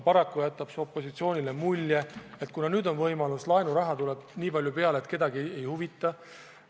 Paraku on opositsioonile jäänud mulje, et kuna nüüd on võimalus, laenuraha tuleb väga palju peale, siis kedagi muu ei huvita.